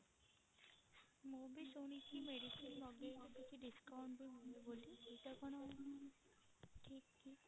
ମୁଁ ବି ଶୁଣିଛି medicine ମଗେଇଲେ କିଛି discount ବି ମିଳେ ବୋଲି ଏଇଟା କଣ ଠିକ କି?